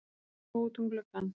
Svo útum gluggann.